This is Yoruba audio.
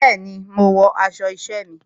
Bẹẹni, mo wọ aṣọ isẹ mi.